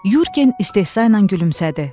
Yorqen istehza ilə gülümsədi.